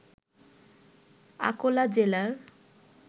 আকোলা জেলার